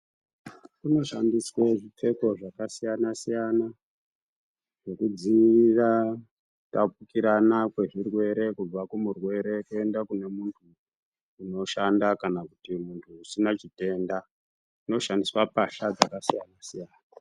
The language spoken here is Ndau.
Kunoshandiswe zvipfeko zvakasiyana-siyana zvekudziira kutapukirana kwezvirwere kubva kumurwere kuenda kune muntu unoshanda kana kuti muntu usina chitenda. Zvinoshandiswa mbahla dzakasiyana-siyana.